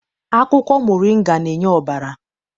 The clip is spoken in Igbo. Akwụkwọ moringa na-enye ọbara.